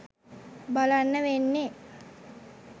බලන්න වෙන්නේ.